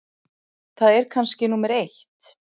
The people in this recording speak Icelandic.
Það er kannski númer eitt.